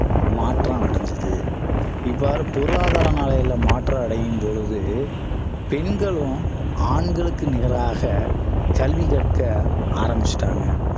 மாற்றம் அடைந்தது இவ்வாறு பொருளாதார நிலையில மாற்றம் அடையும் போது பெண்களும் ஆண்களுக்கு நிகராக கல்வி கற்க ஆரம்பிச்சிட்டாங்க